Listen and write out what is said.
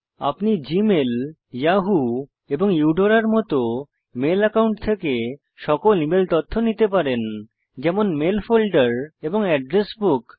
আপনি Gmail Yahoo এবং ইউডোরার মত মেল অ্যাকাউন্ট থেকে সকল ইমেল তথ্য নিতে পারেন যেমন মেইল ফোল্ডার এবং এড্রেস বুক